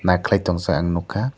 nai keilai tongjak ang nogka.